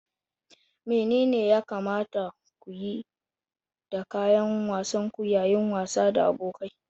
Menene ya kamata ku yi da kayan wasan ku yayin wasa da abokai?